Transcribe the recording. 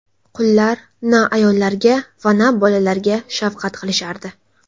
Qullar na ayollarga va na bolalarga shafqat qilishardi.